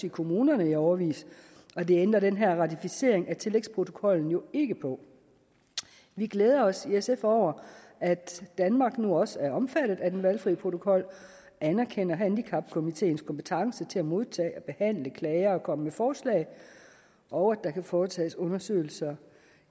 i kommunerne i årevis og det ændrer den her ratificering af tillægsprotokollen jo ikke på vi glæder os i sf over at danmark nu også er omfattet af den valgfri protokol og anerkender handicapkomiteens kompetence til at modtage og behandle klager og komme med forslag og at der kan foretages undersøgelser